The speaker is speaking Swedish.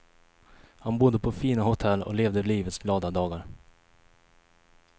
Han bodde på fina hotell och levde livets glada dagar.